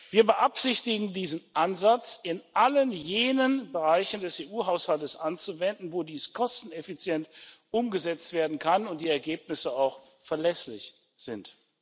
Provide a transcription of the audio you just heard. Wir beabsichtigen, diesen Ansatz in allen jenen Bereichen des EU Haushalts anzuwenden, wo dies kosteneffizient umgesetzt werden kann und die Ergebnisse auch verlässlich sind.